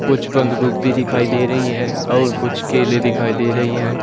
कुछ बंद गोभी भी दिखाई दे रही है और कुछ केले दिखाई दे रही है।